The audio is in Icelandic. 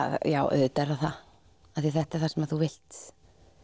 auðvitað er það það því þetta er það sem þú vilt